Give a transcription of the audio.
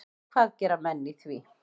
Og hvað gera menn í því?